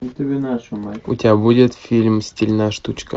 у тебя будет фильм стильная штучка